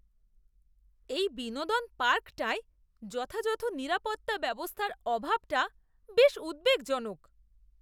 এই বিনোদন পার্কটায় যথাযথ নিরাপত্তা ব্যবস্থার অভাবটা বেশ উদ্বেগজনক।